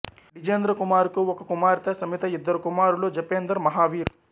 డిజేంద్ర కూమర్ కు ఒక కుమార్తె సమిత ఇద్దరు కుమారులు జపెందెర్ మహావీర్